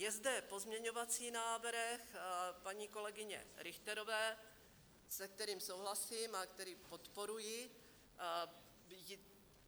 Je zde pozměňovací návrh paní kolegyně Richterové, se kterým souhlasím a který podporuji.